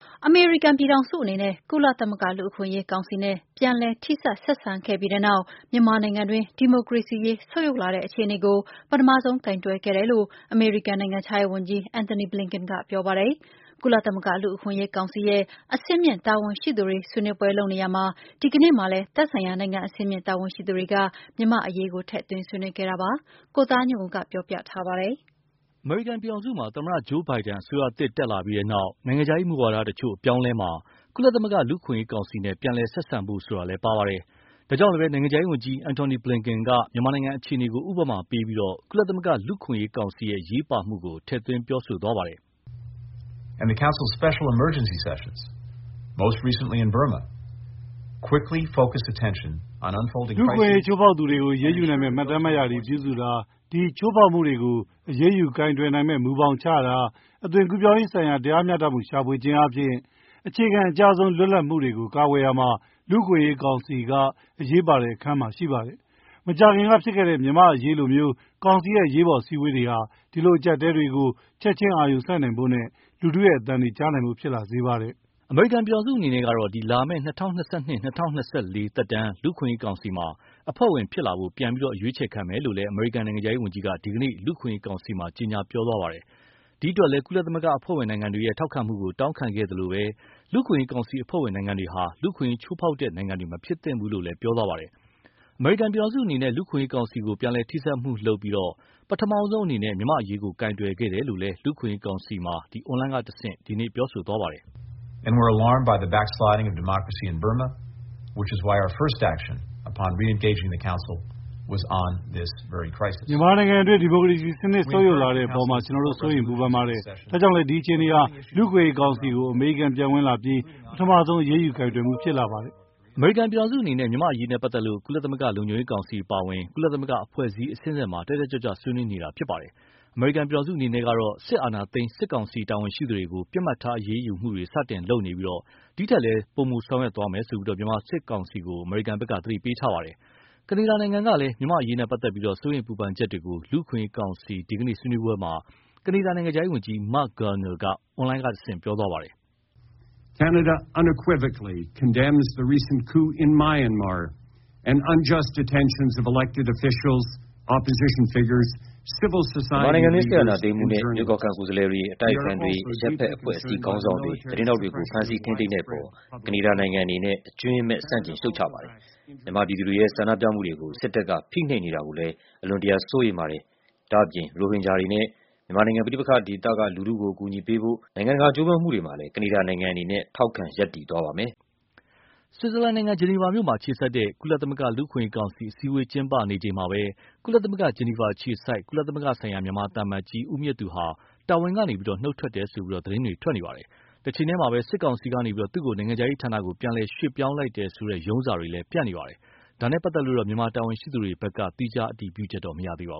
အမေရိကန်ပြည်ထောင်စုအနေနဲ့ ကုလသမဂ္ဂ လူ့အခွင့်အရေးကောင်စီနဲ့ ပြန်လည်ထိစပ်ဆက်ဆံခဲ့ပြီးနောက် မြန်မာနိုင်ငံတွင်း ဒီမိုကရေစီအခြေအနေ ဆုတ်ယုတ်လာတဲ့အခြေအနေကို ပထမဆုံးကိုင်တွယ်ခဲ့တယ်လို့ အမေရိကန်နိုင်ငံခြားရေးဝန်ကြီး Anthony Blinken က ပြောပါတယ်။ ကုလသမဂ္ဂလူ့အခွင့်အရေးကောင်စီရဲ့ အဆင့်မြင့်တာဝန်ရှိသူတွေဆွေးနွေးပွဲလုပ်နေရာမှာ ဒီနေ့မှာလည်း သက်ဆိုင်ရာနိုင်ငံအဆင့်မြင့်တာဝန်ရှိသူတွေက မြန်မာ့အရေးက ထည့်သွင်းဆွေးနွေးခဲ့တာပါ။ ကိုသားညွန့်ဦး ပြောပြပါလိမ့်မယ်။ အမေရိကန်ပြည်ထောင်စုမှာ သမ္မတ Joe Biden အစိုးရသစ်တက်လာပြီး နိုင်ငံခြားရေးမူဝါဒ တချို့အပြောင်းအလဲမှာ၊ ကုလသမဂ္ဂ လူ့အခွင့်အရေးကောင်စီနဲ့ ပြန်လည်ဆက်ဆံဖို့ဆိုတာလည်း ပါဝင်ပါတယ်။ ဒါကြောင့်လည်း နိုင်ငံခြားရေးဝန်ကြီး Anthony Blinken က မြန်မာနိုင်ငံအခြေအနေကို ဥပမာပြပြီး ကုလသမဂ္ဂလူ့အခွင့်အရေးကောင်စီရဲ့ အရေးပါမှုကို ထည့်သွင်းပြောဆိုသွားပါတယ်။ “လူ့အခွင့်အရေး ချိုးဖောက်သူတွေကို အရေးယူနိုင်မယ့် မှတ်တမ်းမှတ်ရာတွေပြုစုတာ၊ ဒီချိုးဖောက်မှုတွေကို အရေးယူကိုင်တွယ်နိုင်မယ့်မူဘောင်ချတာ၊ အသွင်ကူးပြောင်းရေးဆိုင်ရာ တရားမျှတမှု ရှာဖွေခြင်းအားဖြင့် အခြေခံအကျဆုံး လွတ်လပ်မှုတွေကို ကာကွယ်ရာမှာ လူ့အခွင့်အရေးကောင်စီက အရေးပါတဲ့အခန်းမှာ ရှိပါတယ်။ မကြာခင်ကဖြစ်ခဲ့တဲ့မြန်မာ့အရေးလိုမျိုး ကောင်စီရဲ့ အရေးပေါ်အစည်းအဝေးတွေဟာ ဒီလိုအကြပ်အတည်းတွေကို ချက်ချင်းအာရုံစိုက်နိုင်ဖို့နဲ့ လူထုရဲ့အသံတွေ ကြားနိုင်ဖို့ ဖြစ်လာစေပါတယ်။” အမေရိကန်ပြည်ထောင်စုအနေနဲ့ကတော့ လာမယ့် ၂၀၂၂-၂၀၂၄ သက်တမ်း လူ့အခွင့်အရေးကောင်စီမှာ အဖွဲ့ဝင်ဖြစ်လာဖို့ ပြန်အရွေးချယ်ခံမယ်လို့လည်း အမေရိကန်နိုင်ငံခြားရေးဝန်ကြီးက ဒီကနေ့ လူ့အခွင့်အရေးကောင်စီမှာ ကြေညာပြောဆိုခဲ့ပါတယ်။ ဒီအတွက်လည်း ကုလသမဂ္ဂအဖွဲ့ဝင်နိုင်ငံတွေရဲ့ ထောက်ခံမှုကို တောင်းခံခဲ့သလို၊ လူ့အခွင့်အရေးကောင်စီအဖွဲ့ဝင်နိုင်ငံတွေဟာ လူ့အခွင့်အရေး ချိုးဖောက်တဲ့နိုင်ငံတွေ မဖြစ်သင့်ဘူးလို့လည်း ပြောသွားပါတယ်။ အမေရိကန်ပြည်ထောင်စုအနေနဲ့ လူ့အခွင့်အရေးကောင်စီကို ပြန်လည်ထိစပ်မှုလုပ်ပြီး၊ ပထမဆုံးအနေနဲ့ မြန်မာ့အရေးကို ကိုင်တွယ်ခဲ့တယ်လို့လည်း လူ့အခွင့်အရေးကောင်စီမှာ အွန်လိုင်းကတဆင့် ပြောဆိုသွားပါတယ်။ “မြန်မာနိုင်ငံတွင်း ဒီမိုကရေစီစနစ် ဆုတ်ယုတ်လာတဲ့အပေါ်မှာ ကျနော်တို့စိုးရိမ်ပူပင်ပါတယ်။ ဒါကြောင့်လည်း ဒီအခြေအနေဟာ လူ့အခွင့်အရေးကောင်စီကို အမေရိကန်ပြန်ဝင်လာပြီနောက် ပထမဆုံး အရေးယူကိုင်တွယ်မှုဖြစ်လာပါတယ်။” အမေရိကန်ပြည်ထောင်စုအနေနဲ့ မြန်မာ့အရေးနဲ့ပတ်သက်လို့ ကုလသမဂ္ဂ လုံခြုံရေးကောင်စီအပါအဝင် ကုလသမဂ္ဂအဖွဲ့အစည်းအဆင့်ဆင့်မှာ တတ်တတ်ကြွကြွ ဆွေးနွေးနေတာဖြစ်ပါတယ်။ အမေရိကန်ပြည်ထောင်စုအနေနဲ့ကတော့ စစ်အာဏာသိမ်း စစ်ကောင်စီတာဝန်ရှိသူတွေကို ပစ်မှတ်ထားအရေးယူမှုတွေ စတင်လုပ်နေပြီး၊ ဒီထက်လည်း ပိုမိုဆောင်ရွက်မယ်လို့ မြန်မာစစ်ကောင်စီကို သတိပေးထားပါတယ်။ ကနေဒါနိုင်ငံကလည်း မြန်မာ့အရေးနဲ့ ပတ်သက်လို့ စိုးရိမ်ပူပင်ချက်တွေကို လူ့အခွင့်အရေးကောင်စီ ဒီကနေ့ ဆွေးနွေးပွဲမှာ ကနေဒါနိုင်ငံခြားရေးဝန်ကြီး Marc Garneau က အွန်လိုင်းကတဆင့် ပြောသွားပါတယ်။ “မြန်မာနိုင်ငံတွင်း စစ်အာဏာသိမ်းမှုနဲ့ ရွေးကောက်ခံ ကိုယ်စားလှယ်တွေ အတိုက်အခံတွေ အရပ်ဘက်အဖွဲ့အစည်းခေါင်းဆောင်တွေ သတင်းထောက်တွေကို ဖမ်ဆီး ထိန်းသိမ်းတဲ့အပေါ် ကနေဒါနိုင်ငံအနေနဲ့ အကြွင်းမဲ့ဆန့်ကျင်ရှုတ်ချပါတယ်။ မြန်မာပြည်သူတွေရဲ့ဆန္ဒပြမှုတွေကို စစ်တပ်က ဖိနှိပ်နေတာတွေကိုလည်း အလွန်တရာစိုးရိမ်ပါတယ်။ ဒါ့အပြင် ရိုဟင်ဂျာတွေနဲ့ မြန်မာနိုင်ငံ ပဋိပက္ခဒေသက လူထုတွေကို အကူအညီပေးဖို့ နိုင်ငံတကာကြိုးပမ်းမှုတွေမှာလည်း ကနေဒါနိုင်ငံအနေနဲ့ ထောက်ခံရပ်တည်သွားပါမယ်။” ဆွီဇာလန်နိုင်ငံ ဂျနီဗာမြို့မှာအခြေစိုက်တဲ့ ကုလသမဂ္ဂ လူ့အခွင့်အရေးကောင်စီ အစည်းအဝေးကျင်းပနေချိန်မှာပဲ ကုလသမဂ္ဂ ဂျနီဗာအခြေစိုက် ကုလသမဂ္ဂဆိုင်ရာ မြန်မာသံအမတ်ကြီး ဦးမြင့်သူဟာ တာဝန်ကနေ နုတ်ထွက်တယ်လို့ သတင်းတွေ ထွက်နေပါတယ်။ တချိန်တည်းမှာ စစ်ကောင်စီကနေ သူ့ကို နိုင်ငံခြားရေးဌာနကို ပြန်လည်ရွှေ့ပြောင်းလိုက်တယ်ဆိုတဲ့ ရုံးစာတွေလည်း ပြန့်နေပါတယ်။ ဒါနဲ့ပတ်သက်လို့တော့ မြန်မာတာဝန်ရှိသူတွေဘက်က သီးခြားအတည်ပြုချက်တော့မရသေးပါ